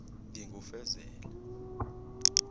ngingufezela